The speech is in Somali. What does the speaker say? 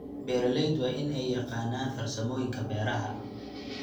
Beeraleydu waa in ay yaqaanaan farsamooyinka beeraha.